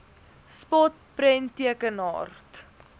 spot prenttekenaar t